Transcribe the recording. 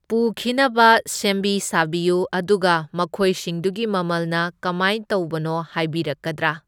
ꯄꯨꯈꯤꯅꯕ ꯁꯦꯝꯕꯤ ꯁꯥꯕꯤꯌꯨ, ꯑꯗꯨꯒ ꯃꯈꯣꯏꯁꯤꯡꯗꯨꯒꯤ ꯃꯃꯜꯅ ꯀꯃꯥꯏ ꯇꯧꯕꯅꯣ ꯍꯥꯏꯕꯤꯔꯛꯀꯗ꯭ꯔꯥ?